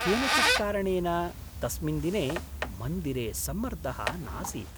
केनचित् कारणेन तस्मिन् दिने मन्दिरे सम्मर्दः नासीत्।